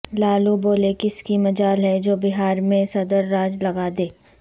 لالو بولے کس کی مجال ہے جو بہار میں صدر راج لگا دے